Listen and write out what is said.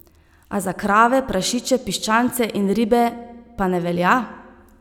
A za krave, prašiče, piščance in ribe pa ne velja?